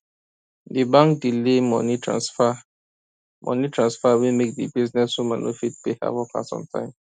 the bank delay money transfer money transfer wey make the businesswoman no fit pay her workers on time